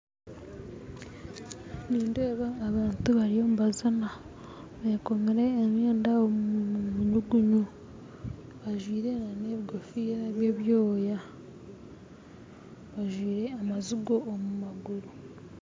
Nindeeba abantu bariyo nibazina bekomere emyenda omu nyugunyu bajwaire na nebigofiira bya ebyoya bajwaire amazigo omu maguru